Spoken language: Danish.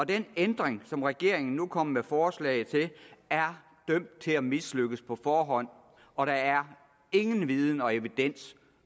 den ændring som regeringen nu kommer med forslag til er dømt til at mislykkes på forhånd og der er ingen viden og evidens